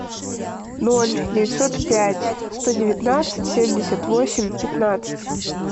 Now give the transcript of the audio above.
ноль девятьсот пять сто девятнадцать семьдесят восемь пятнадцать